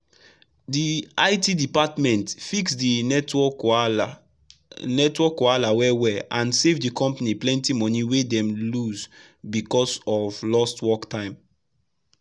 the it department fix the network wahala network wahala well-well and save the company plenty money wey dem for lose because of lost work time.